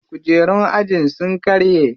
Kujerun ajin su sun karye.